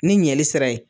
Ni ɲɛli sira ye